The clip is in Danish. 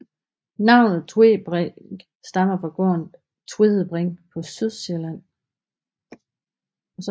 Navnet Tvedebrink stammer fra gården Tvedebring på Sydsjælland